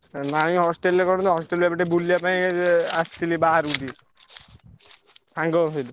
ନାଇ hostel ରେ କଣ ତ hostel ରେ ଏବେ ଟିକେ ବୁଲିଆ ପାଇଁ ଆସଥିଲି ବାହାରକୁ ଟିକେ। ସାଙ୍ଗଙ୍କ ସହିତ।